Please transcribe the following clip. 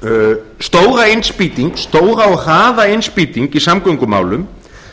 sú stóra og hraða innspýting í samgöngumálum